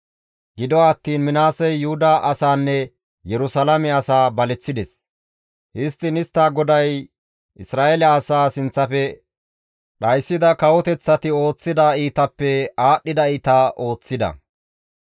Gido attiin Minaasey Yuhuda asaanne Yerusalaame asaa baleththides; histtiin istta GODAY Isra7eele asaa sinththafe dhayssida kawoteththati ooththida iitappe aadhdhida iita ooththida.